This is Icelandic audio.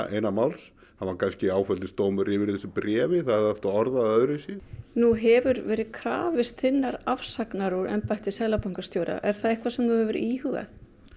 eina máls hann var kannski áfellisdómur yfir þessu bréfi það hefði átt að orða það öðru vísi nú hefur verið krafist þinnar afsagnar úr embætti seðlabankastjóra er það eitthvað sem þú hefur íhugað